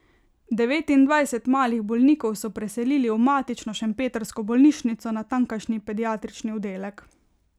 Devetindvajset malih bolnikov so preselili v matično šempetrsko bolnišnico, na tamkajšnji pediatrični oddelek.